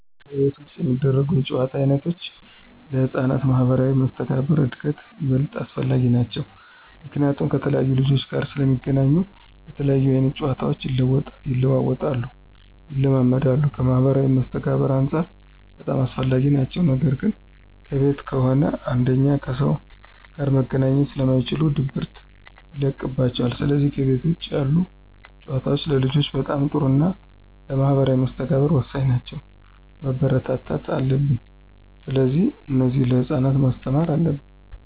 ከቤት ውጭ የሚደረጉ የጨዋታ ዓይነቶች ለሕፃናት ማኅበራዊ መስተጋብር እድገት ይበልጥ አስፈላጊ ናቸዉ። ምክንያቱም ከተለያየ ልጆች ጋር ስለሚገናኙ የተለያየ አይነት ጨዋታቸው ይለዋወጣሉ፣ ይለማመዳሉ ከማህበራዊ መስተጋብርም አንፃር በጣም አስፈላጊ ናቸው ነገር ግን ከቤት ከሆነ አንደኛ ከሰዎች ጋር መገናኘት ስለማይችሉ ድብርት ይለቅባቸዋል ስለዚህ ከቤት ውጭ ያሉ ጨዋታዎች ለልጆች በጣም ጥሩና ለማህበራዊ መስተጋብር ወሳኝ ናቸው፣ መበረታታት አለብን። ስለዚህ እነዚህን ለህፃናት ማስተማር አለብን።